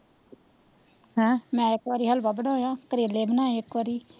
ਹਮ ਮੈ ਇੱਕ ਬਾਰੀ ਹਲਵਾ ਬਨੋਇਆ ਕਰੇਲੇ ਬਣਾਏ ਇੱਕ ਬਰੀ,